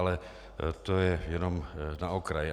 Ale to je jenom na okraj.